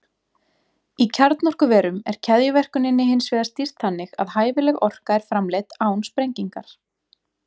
Í kjarnorkuverum er keðjuverkuninni hins vegar stýrt þannig að hæfileg orka er framleidd án sprengingar.